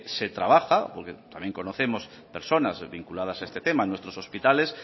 se trabaja porque también conocemos personas vinculadas a este tema en nuestros hospitales